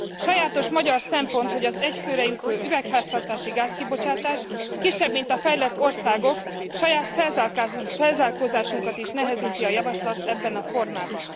Sajátos magyar szempont, hogy az egy főre jutó üvegházhatásúgáz kibocsátás kisebb, mint a fejlett országoké, így saját felzárkózásunkat is nehezíti a javaslat ebben a formában.